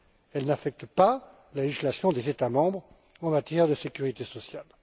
Elle n'affecte pas la législation des États membres en matière de sécurité sociale.